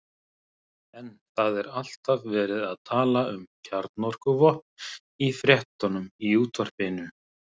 En það er alltaf verið að tala um kjarnorkuvopn í fréttunum í útvarpinu.